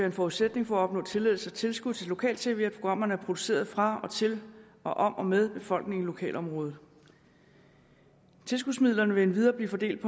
en forudsætning for at opnå tilladelse og tilskud til lokal tv at programmerne er produceret fra og til og om og med befolkningen i lokalområdet tilskudsmidlerne vil endvidere blev fordelt